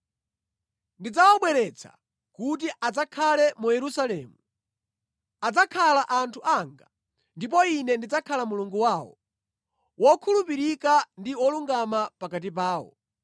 Ndidzawabweretsa kuti adzakhale mu Yerusalemu; adzakhala anthu anga, ndipo Ine ndidzakhala Mulungu wawo, wokhulupirika ndi wolungama pakati pawo.”